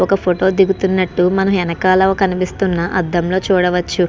Photo దిగుతునట్టు మనం వెనుకల కనిపిస్తున్న అదం లో మనం చూడవచ్చు.